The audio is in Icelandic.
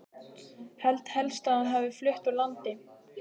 Held helst að hún hafi flutt úr landi.